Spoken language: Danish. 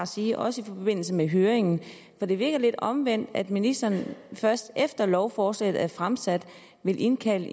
sige også i forbindelse med høringen for det virker lidt omvendt at ministeren først efter lovforslaget er fremsat vil indkalde